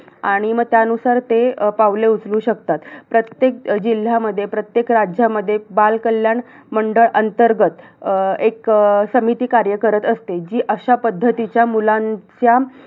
आणि मग त्यानुसार ते पावले उचलू शकतात. प्रत्येक जिल्ह्यामध्ये, प्रत्येल राज्यामध्ये बालकल्याण मंडळ अंतर्गत अं एक अं समिती कार्य करत असते. जी अशा पद्धतीच्या मुलांच्या